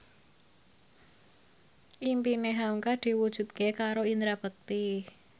impine hamka diwujudke karo Indra Bekti